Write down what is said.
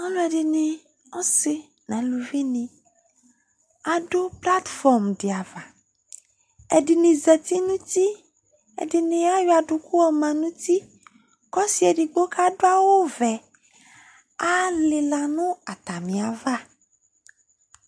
Alʋɛdɩnɩ asɩ nʋ aluvinɩ, adʋ platfɔrm dɩ ava Ɛdɩnɩ zati nʋ uti Ɛdɩnɩ ayɔ adʋkʋ yɔma nʋ uti kʋ ɔsɩ edigbo kʋ adʋ awʋvɛ alɩla nʋ atamɩ ava